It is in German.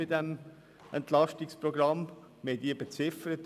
Wir haben diese mit etwa 40 Mio. Franken beziffert.